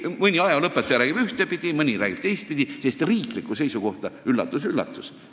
Mõni ajalooõpetaja räägib ühtpidi, mõni räägib teistpidi, sest riigi seisukohta – üllatus-üllatus!